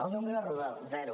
el número és rodó zero